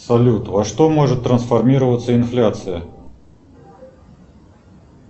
салют во что может трансформироваться инфляция